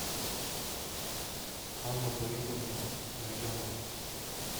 анну борисовну найденову